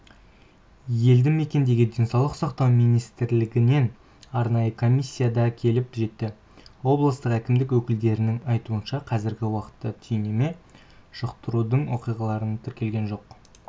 елді мекенге денсаулық сақтау министрлігінен арнайы комиссия да келіп жетті облыстық әкімдік өкілдерінің айтуынша қазіргі уақытта түйнеме жұқтырудың оқиғалары тіркелген жоқ